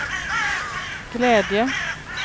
glädje